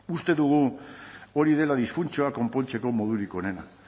uste dugu hori dela disfuntzioak konpontzeko modurik onena